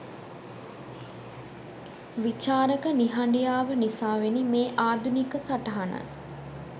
විචාරක නිහඬියාව නිසාවෙනි මේ ආධුනික සටහන